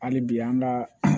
Hali bi an ka